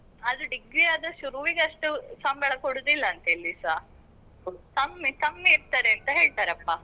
ಆದ್ರೆ degree ಆದ್ರೆ ಶುರುವಿಗೆ ಅಷ್ಟು ಸಂಬಳ ಕೊಡೂದಿಲ್ಲ ಅಂತೆ ಎಲ್ಲಿಸಾ, ಕಮ್ಮಿ ಕಮ್ಮಿ ಇರ್ತದೆ ಅಂತ ಹೇಳ್ತಾರಪ್ಪ.